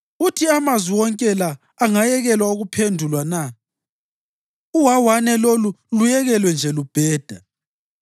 “Uthi amazwi wonke la angayekelwa ukuphendulwa na? Uwawane lolu luyekelwe nje lubheda?